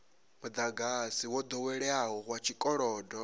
mudagasi wo doweleaho wa tshikolodo